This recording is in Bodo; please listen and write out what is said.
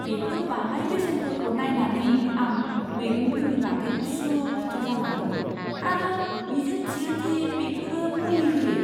बेफोर बाङाइ बेसेनफोरखौ नायनानै, आं मैगंफोरनि बागै उसुखुथु जाना दं आरो मिजिं थियो दि बेफोरो मुलि होयै।